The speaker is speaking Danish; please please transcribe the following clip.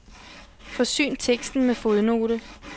Forsyn teksten med fodnote.